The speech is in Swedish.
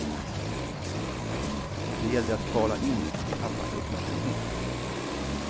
Det gällde att kvala in till pappas uppmärksamhet.